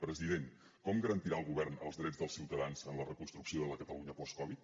president com garantirà el govern els drets dels ciutadans en la reconstrucció de la catalunya post covid